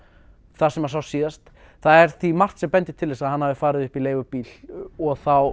þar sem hann sást síðast það er því margt sem bendir til að hann hafi farið upp í leigubíl og þá